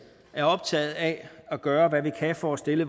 er optaget af at gøre hvad vi kan for at stille